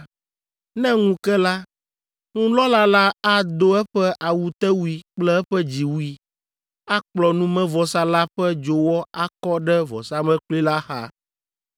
Ne ŋu ke la, nunɔla la ado eƒe awutewui kple eƒe dziwui, akplɔ numevɔsa la ƒe dzowɔ akɔ ɖe vɔsamlekpui la xa.